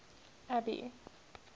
abby